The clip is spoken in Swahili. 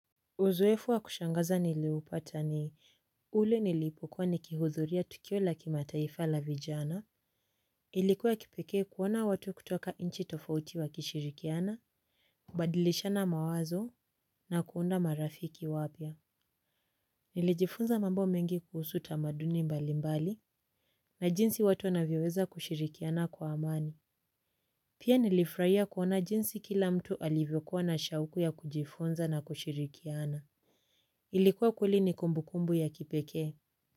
Uzoefu wa kushangaza niliupata ni, ule nilipokuwa ni kihudhuria tukio la kimataifa la vijana. Ilikuwa kipekee kuona watu kutoka inchi tofauti wa kishirikiana, kubadilishana mawazo na kuunda marafiki wapya. Nilijifunza mambo mengi kuhusu tamaduni mbali mbali, na jinsi watu wanavyoweza kushirikiana kwa amani. Pia nilifurahia kuona jinsi kila mtu alivyokuwa na shauku ya kujifunza na kushirikiana. Ilikuwa kweli ni kumbukumbu ya kipekee.